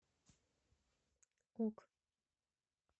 ок